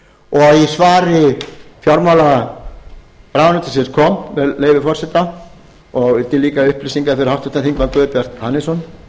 og í svari fjármálaráðuneytisins kom með leyfi forseta og líka til upplýsingar fyrir háttvirtan þingmann guðbjart hannesson